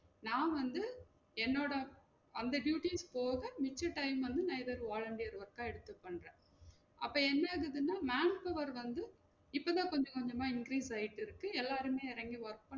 நா வந்து என்னோட அந்த duties போக மிச்ச time வந்து நா எதாவது volunteer work ஆ எடுத்து பண்றன் அப்ப என்ன ஆகுதுனா manpower வந்து இப்ப தான் கொஞ்சம் கொஞ்சமா increase ஆயிட்டு இருக்கு எல்லாருமே எறங்கி வரட்டும்